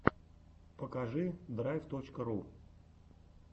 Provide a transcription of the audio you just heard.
покажи драйв точка ру